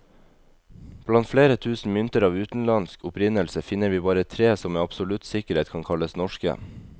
Blant flere tusen mynter av utenlandsk opprinnelse, finner vi bare tre som med absolutt sikkerhet kan kalles norske.